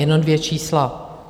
Jenom dvě čísla.